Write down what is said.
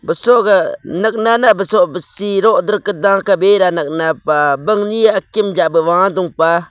sogah nakne basoh baseh roga da bera nekne pah bangne akim wah doga.